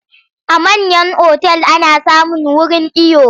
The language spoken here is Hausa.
A manyan otal ana samun wurin iyo.